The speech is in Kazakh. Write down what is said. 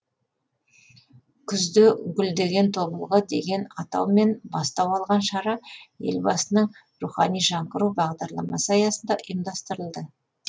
күзде гүлдеген тобылғы деген атаумен бастау алған шара елбасының рухани жаңғыру бағдарламасы аясында ұйымдастырылды